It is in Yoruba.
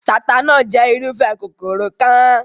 Taata náà jẹ́ irúfẹ́ kòkòrò kan.